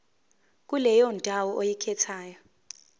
kuleyo ndawo oyikhethayo